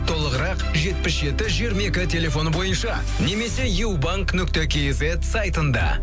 толығырақ жетпіс жеті жиырма екі телефоны бойынша немесе юбанк нүкте кизет сайтында